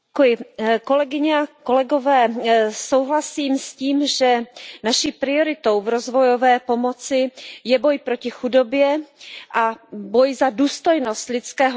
Pane předsedající, souhlasím s tím, že naší prioritou v rozvojové pomoci je boj proti chudobě a boj za důstojnost lidského života.